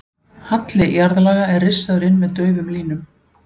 Halli jarðlaga er rissaður inn með daufum línum.